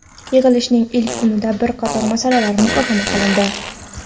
Yig‘ilishning ilk kunida bir qator masalalar muhokama qilindi.